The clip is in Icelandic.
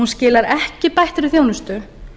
hún skilar ekki bættri þjónustu